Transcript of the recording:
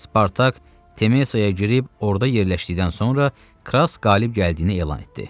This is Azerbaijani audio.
Spartak Temesaya girib orda yerləşdikdən sonra Kras qalib gəldiyini elan etdi.